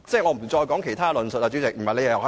我現在就其他方面發言。